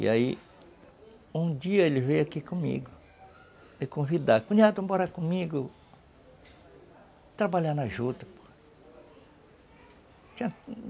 E aí, um dia ele veio aqui comigo me convidar, cunhado vamos comigo, trabalhar na juta.